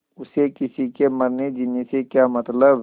उसे किसी के मरनेजीने से क्या मतलब